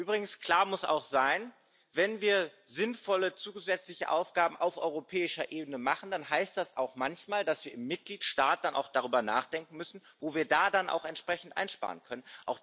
Übrigens, klar muss auch sein Wenn wir sinnvolle zusätzliche Aufgaben auf europäischer Ebene machen, dann heißt das manchmal auch, dass wir im Mitgliedstaat auch darüber nachdenken müssen, wo wir dann entsprechend einsparen können.